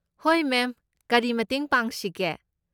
ꯍꯣꯏ ꯃꯦꯝ, ꯀꯔꯤ ꯃꯇꯦꯡ ꯄꯥꯡꯁꯤꯒꯦ?